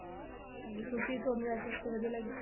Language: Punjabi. ਹਾਂਜੀ ਤੁਸੀਂ ਤੁਹਾਨੂੰ SST ਵਧੀਆ ਲੱਗਦੀ ਸੀ